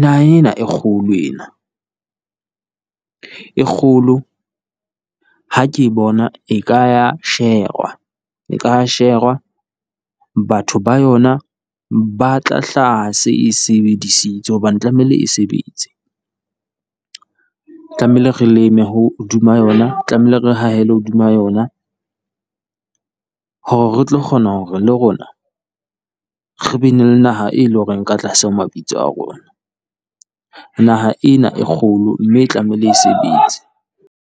naha ena e kgolo ena. E kgolo. Ha ke bona e ka ya sherwa, e ka sherwa, batho ba yona ba tla hlaha e se e sebedisitswe hobane tlamehile e sebetse. Tlamehile re leme hodima yona, tlamehile re hahele hodima yona, hore re tlo kgona hore le rona re ba ne le naha e leng hore e ka tlase ho mabitso a rona. Naha ena e kgolo mme e tlamehile e sebetse.